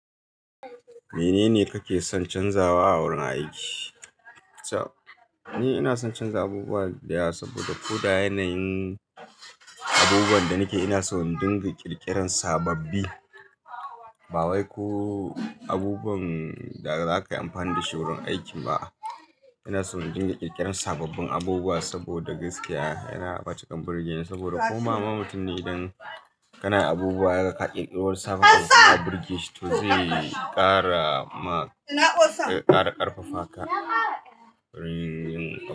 Menene kake son canzawa a wurin aiki? Ni ina son canza abubuwa da yawa saboda ko da yanayin abubuwan da nake ina so in dinga ƙirƙiran sababbi. Ba wai ko abubuwan da za ka yi amfani da su wurin aiki ba. Ina so in dinga ƙirƙiran sababbin abubuwa saboda gaskiya yana matukan birge ni saboda ko ma ma mutum ne idan kana abubuwa ya ga ka kirkiri wani sabon abu kana birgeshi to zai ƙara ma, zai ƙara ƙarfafa ka wurin yin.